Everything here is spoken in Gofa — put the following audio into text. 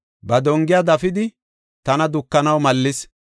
Ba dongiya dafidi, tana dukanaw mallis.